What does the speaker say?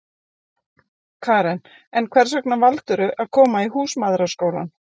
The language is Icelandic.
Karen: En hvers vegna valdirðu að koma í Húsmæðraskólann?